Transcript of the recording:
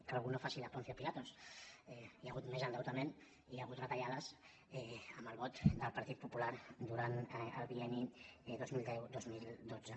que algú no faci de ponç pilat hi ha hagut més en·deutament i hi ha hagut retallades amb el vot del partit popular durant el bienni dos mil deu·dos mil dotze